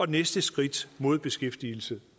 næste skridt mod beskæftigelse